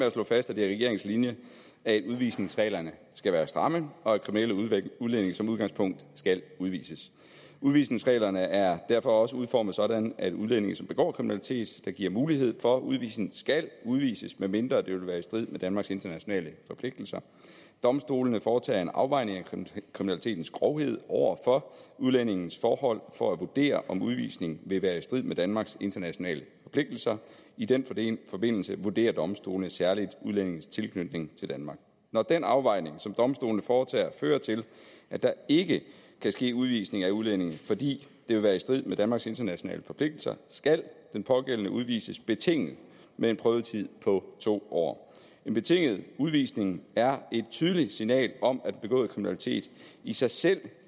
at slå fast at det er regeringens linje at udvisningsreglerne skal være stramme og at kriminelle udlændinge som udgangspunkt skal udvises udvisningsreglerne er derfor også udformet sådan at udlændinge som begår kriminalitet der giver mulighed for udvisning skal udvises medmindre det vil være i strid med danmarks internationale forpligtelser domstolene foretager en afvejning af kriminalitetens grovhed over for udlændingens forhold for at vurdere om udvisning vil være i strid med danmarks internationale forpligtelser i den forbindelse vurderer domstolene særligt udlændingens tilknytning til danmark når den afvejning som domstolene foretager fører til at der ikke kan ske udvisning af udlændingen fordi det vil være i strid med danmarks internationale forpligtelser skal den pågældende udvises betinget med en prøvetid på to år en betinget udvisning er et tydeligt signal om at begået kriminalitet i sig selv